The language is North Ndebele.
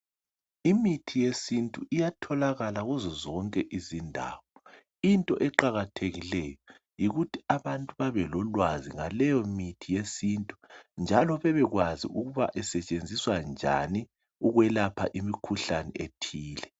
Imithi yesintu iyatholakala kuzo zonke izindawo, into eqakathekileyo yikuthi abantu babelolwazi ngaleyomithi yesintu njalo bebekwazi ukuba isetshenziswa njani ukwelapha imikhuhlane ethile.